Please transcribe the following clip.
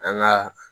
An ka